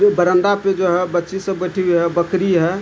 ये बरामदा पे जो है बच्ची सब बैठी हुई है बकरी है |